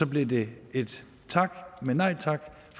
bliver det et tak men nej tak